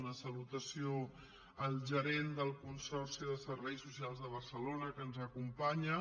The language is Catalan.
una salutació al gerent del consorci de serveis soci·als de barcelona que ens acompanya